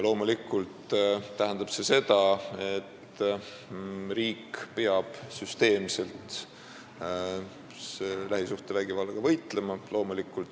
Loomulikult tähendab see seda, et riik peab lähisuhtevägivallaga süsteemselt võitlema.